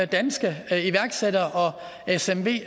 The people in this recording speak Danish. danske iværksættere og smv